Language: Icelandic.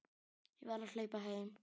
Ég verð að hlaupa heim.